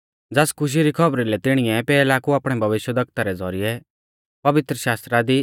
ज़ास खुशी री खौबरी लै तिणीऐ पैहला कु आपणै भविष्यवक्ता रै ज़ौरिऐ पवित्रशास्त्रा दी